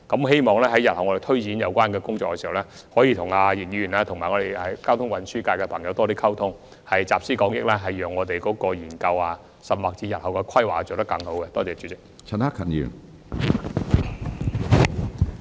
希望日後在推展有關工作時，能與易議員和交通運輸界人士多作溝通，集思廣益，讓日後的研究或規劃做得更好。